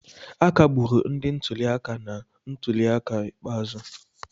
A kpagburu ndị ntuli aka na ntuli aka ikpeazụ.